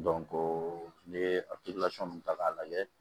n'i ye a ta k'a lajɛ